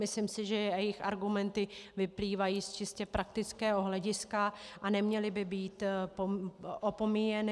Myslím si, že jejich argumenty vyplývají z čistě praktického hlediska a neměly by být opomíjeny.